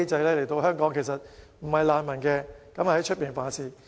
他們本身其實不是難民，但來港後犯事。